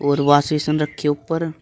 और wash basin रखी है ऊपर।